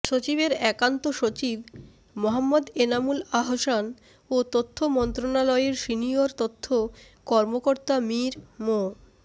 সচিবের একান্ত সচিব মোহাম্মদ এনামুল আহসান ও তথ্য মন্ত্রণালয়ের সিনিয়র তথ্য কর্মকর্তা মীর মো